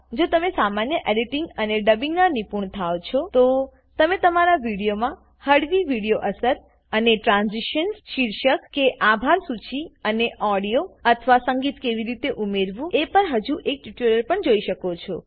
એકવાર જો તમે સામાન્ય એડીટીંગ અને ડબિંગનાં નિપુણ થાવ છો તો તમે તમારા વિડીયોમાં હળવી વિડીયો અસર અને ટ્રાન્ઝીશન્સ શીર્ષક કે આભાર સૂચી અને ઓડિયો અથવા સંગીત કેવી રીતે ઉમેરવું એ પરનું હજુ એક ટ્યુટોરીયલ પણ જોઈ શકો છો